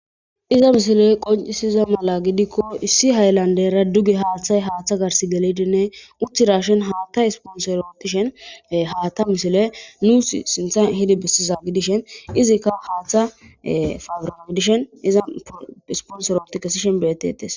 iza mishile qoncisiza mala gidikko issi haylandera dugi haaththay haaththa gars gelidinne uttirashen haatta isponsorootishen haata mishile nuus sintha hidi bessiza gidishen izikka haaththa fabira gidishen iza isponsoroti kesishen betetes